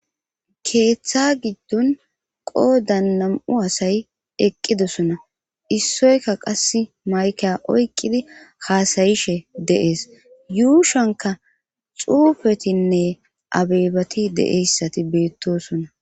keeththa giddon qoodan nam7u asay eqqidosona issoyka qasi maykiya oykqidi haasayishe de7es yuushanka xuufetinne abeebati de7eyssati beettosona